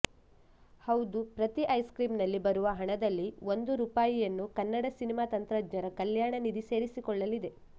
ಹೌದು ಪ್ರತಿ ice cream ನಲ್ಲಿ ಬರುವ ಹಣದಲ್ಲಿ ಒಂದು ರೂಪಾಯಿಯನ್ನು ಕನ್ನಡ ಸಿನಿಮಾ ತಂತ್ರಜ್ಞರ ಕಲ್ಯಾಣ ನಿಧಿ ಸೇರಿಕೊಳ್ಳಲಿದೆ